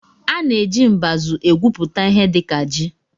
A na-eji mbazụ egwupụta ihe dịka ji